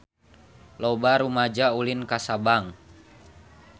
Loba rumaja ulin ka Sabang